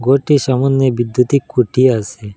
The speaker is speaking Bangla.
রোডটির সামোনে বিদ্যুতিক খুঁটি আসে।